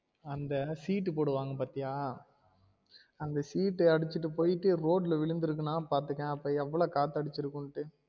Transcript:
அந்த seat போடுவாங்க பாத்தியா அந்த seat அந்த அடிச்சி போயிட்டு ரோட் ல விழுந்துருக்கு னா பாத்துக்கொயன் அப்ப எவ்ளோ காத்து அடிச்சிருக்குனு